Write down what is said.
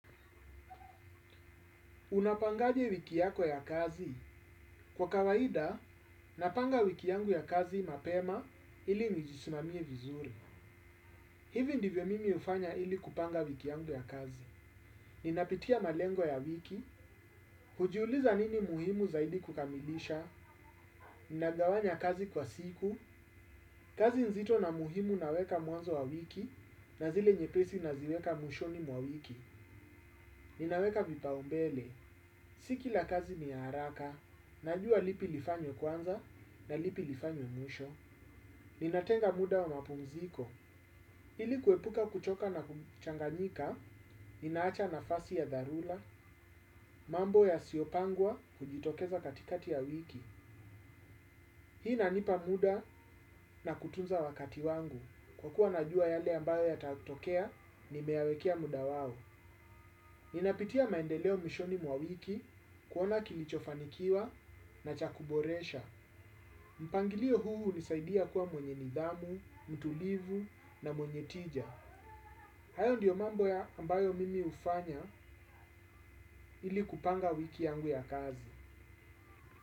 Unapangaje wiki yako ya kazi? Kwa kawaida, napanga wiki yangu ya kazi mapema ili nijisimamie vizuri. Hivi ndivyo mimi hufanya ili kupanga wiki yangu ya kazi. Ninapitia malengo ya wiki, hujiuliza nini muhimu zaidi kukamilisha, ninagawanya kazi kwa siku, kazi nzito na muhimu naweka mwanzo wa wiki, na zile nyepesi naziweka mwishoni mwa wiki. Ninaweka vipaumbele, si kila kazi ni ya haraka, najua lipi lifanywe kwanza na lipi lifanywe mwisho. Ninatenga muda wa mapumziko, ili kuepuka kuchoka na kuchanganyika, ninaacha nafasi ya dharura, mambo yasiyopangwa hujitokeza katikati ya wiki. Hii inanipa muda na kutunza wakati wangu, kwa kuwa najua yale ambayo yatatokea, nimeyawekea muda wao. Ninapitia maendeleo mwishoni mwa wiki kuona kilichofanikiwa na chakuboresha. Mpangilio huu hunisaidia kuwa mwenye nidhamu, mtulivu na mwenye tija. Hayo ndiyo mambo ambayo mimi hufanya ili kupanga wiki yangu ya kazi.